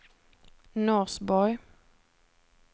Norsborg